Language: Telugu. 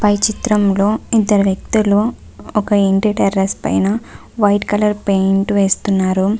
పై చిత్రంలో ఇద్దరు వ్యక్తులు ఒక ఇంటి టెర్రస్ పైన వైట్ కలర్ పేయింట్ వేస్తున్నారు.